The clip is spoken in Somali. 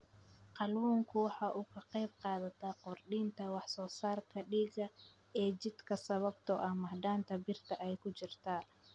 Kalluunku waxa uu ka qaybqaataa kordhinta wax soo saarka dhiigga ee jidhka sababtoo ah macdanta birta ah ee ku jirta.